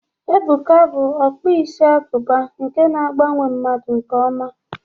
Ebuka bụ onye ọkpụ isi agụba nke na agbanwe mmadụ nke ọma.